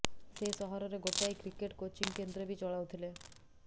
ସେ ସହରରେ ଗୋଟାଏ କ୍ରିକେଟ୍ କୋଚିଙ୍ଗ୍ କେନ୍ଦ୍ର ବି ଚଳାଉଥିଲେ